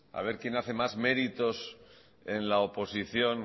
a ver quién hace más meritos en la oposición